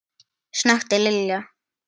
snökti Lilla.